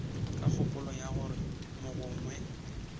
ka kgopolo ya gore mogongwe